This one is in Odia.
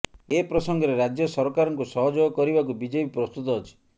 ଏ ପ୍ରସଙ୍ଗରେ ରାଜ୍ୟ ସରକାରଙ୍କୁ ସହଯୋଗ କରିବାକୁ ବିଜେପି ପ୍ରସ୍ତୁତ ଅଛି